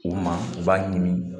U ma u b'a ɲimi